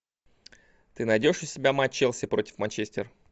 ты найдешь у себя матч челси против манчестер